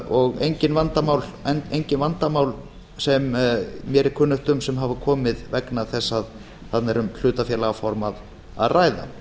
og engin vandamál sem mér er kunnugt um sem hafa komið vegna þess að þarna er um hlutafélagaform að ræða